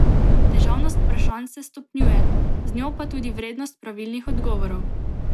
Težavnost vprašanj se stopnjuje, z njo pa tudi vrednost pravilnih odgovorov.